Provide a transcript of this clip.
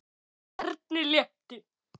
Erni létti.